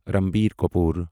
Ranbir Kapoor